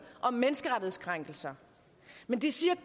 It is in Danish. om menneskerettighedskrænkelser men de siger